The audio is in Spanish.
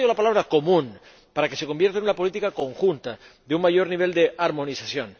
Y subrayo la palabra común, para que se convierta en una política conjunta, de un mayor nivel de armonización.